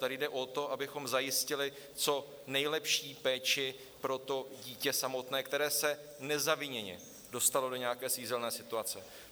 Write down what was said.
Tady jde o to, abychom zajistili co nejlepší péči pro to dítě samotné, které se nezaviněně dostalo do nějaké svízelné situace.